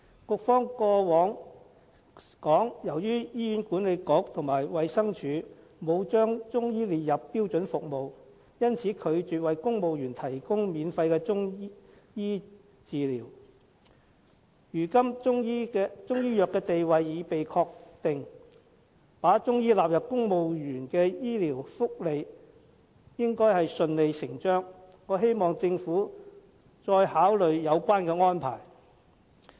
局方過往曾表示，由於醫院管理局和衞生署沒有把中醫列入標準服務，因此拒絕為公務員提供免費的中醫藥治療，如今中醫藥的地位已被確定，應順理成章把中醫納入公務員的醫療福利，我希望政府再次考慮有關安排。